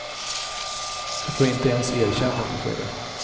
Du får inte ens erkännande för det.